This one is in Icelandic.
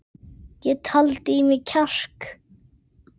Ég taldi í mig kjark.